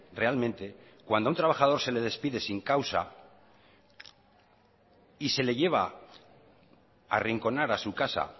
realmente cuando a un trabajador se le despide sin causa y se le lleva arrinconar a su casa